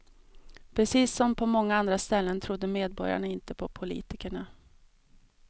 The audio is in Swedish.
Precis som på så många andra ställen trodde medborgarna inte på politikerna.